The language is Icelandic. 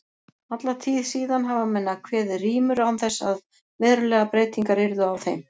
Alla tíð síðan hafa menn kveðið rímur án þess að verulegar breytingar yrðu á þeim.